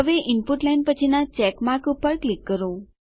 હવે input line પછીના check mark પર ક્લિક કરો